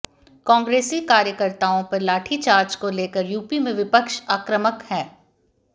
कांग्रेसी कार्यकर्ताओं पर लाठीचार्ज को लेकर यूपी में विपक्ष आक्रामक है